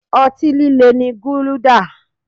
Ọtí líle ni guluda